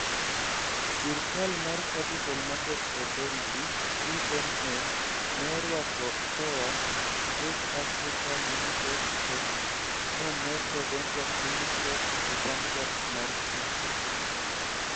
Sirkal mar Capital Markets Authority (CMA) ne orwako KOA Save Africa Limited kod Moneto Ventures Limited e sandbox mar chike.